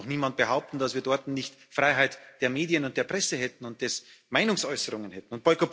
Es kann doch niemand behaupten, dass wir dort nicht Freiheit der Medien und der Presse und der Meinungsäußerung hätten.